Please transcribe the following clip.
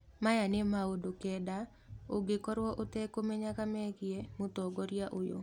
Maya nĩ maũndũ kenda ũngĩkorwo ũtekũmenyaga megiĩ mũtongoria ũyũ.